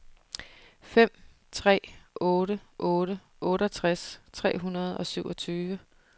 fem tre otte otte otteogtres tre hundrede og syvogtyve